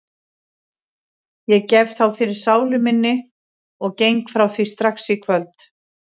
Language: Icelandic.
Ég gef þá fyrir sálu minni og geng frá því strax í kvöld.